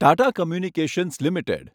Tata communications limited